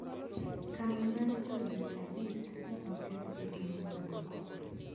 Kambi mar jo jihadist ne okethi e piny Morocco